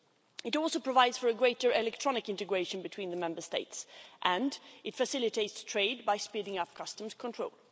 It also provides for a greater electronic integration between the Member States and it facilitates trade by speeding up customs control.